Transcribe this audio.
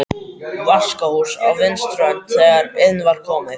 Vaskahús á vinstri hönd þegar inn var komið.